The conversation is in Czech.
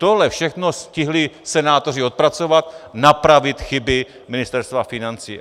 Tohle všechno stihli senátoři odpracovat, napravit chyby Ministerstva financí.